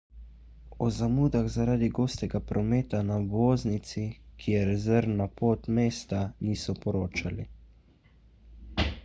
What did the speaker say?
o zamudah zaradi gostega prometa na obvoznici ki je rezervna pot mesta niso poročali